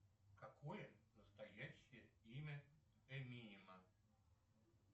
какое настоящее имя эминема